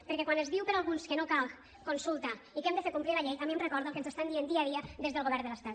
perquè quan es diu per alguns que no cal consulta i que hem de fer complir la llei a mi em recorda el que ens estan dient dia a dia des del govern de l’estat